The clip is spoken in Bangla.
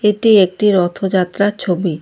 এটি একটি রথযাত্রার ছবি।